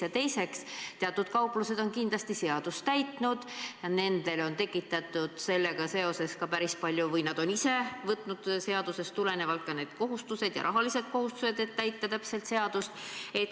Ja teiseks, teatud kauplused on kindlasti seadust täitnud, nendele on tekitatud sellega seoses ka päris palju või nad on ise võtnud seadusest tulenevalt ka need kohustused ja rahalised kohustused, et täita täpselt seadust.